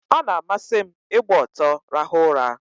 Ọ na-amasị m ịgba ọtọ rahụ ụra.